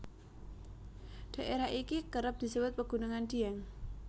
Daerah iki kerep disebut pegunungan Dieng